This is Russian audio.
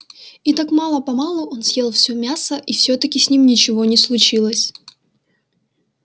и так мало-помалу он съел всё мясо и всё-таки с ним ничего не случилось